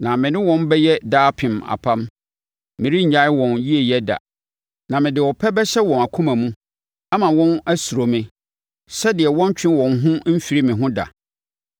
Na me ne wɔn bɛyɛ daapem apam: Merennyae wɔn yieyɛ da, na mede ɔpɛ bɛhyɛ wɔn akoma mu, ama wɔn asuro me, sɛdeɛ wɔrentwe wɔn ho mfiri me ho da.